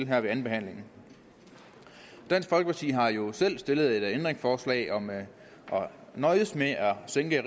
her ved andenbehandlingen dansk folkeparti har jo selv stillet ændringsforslag om at nøjes med at sænke